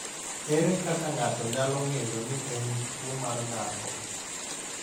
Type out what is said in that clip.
Ere kaka ng’ato nyalo ng’eyo ni en gi tuwo mar ng’ato?